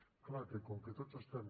és clar que com que tots estem